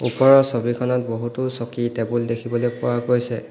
ওপৰৰ ছবিখনত বহুতো চকী টেবুল দেখিবলৈ পোৱা গৈছে।